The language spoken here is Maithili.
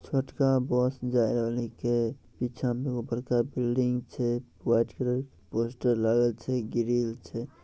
छोटका बस जाये वली के पीछे में बड़का बिल्डिंग छै | व्हाइट कलर के पोस्टर लागल छै ग्रिल छै।